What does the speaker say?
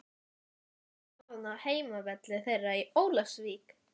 Hvernig er staðan á heimavelli þeirra í Ólafsvík?